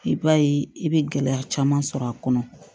I b'a ye i bɛ gɛlɛya caman sɔrɔ a kɔnɔ